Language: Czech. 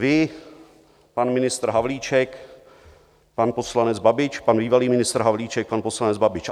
Vy, pan ministr Havlíček, pan poslanec Babiš, pan bývalý ministr Havlíček, pan poslanec Babiš.